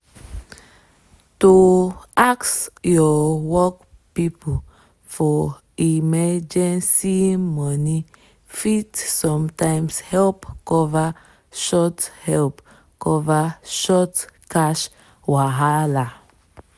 to ask your work people for emergency money fit sometimes help cover short help cover short cash wahala.